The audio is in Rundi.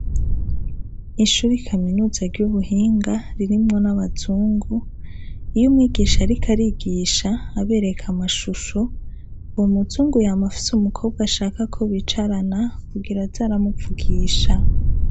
Ishuri kaminuza ry'ubuhinga ririmwo n'abazungu, iyo umwigisha ariko arigisha abereka amashusho, uwo muzungu yama afise umukobwa ashaka ko bicarana kugira aze aramuvugisha.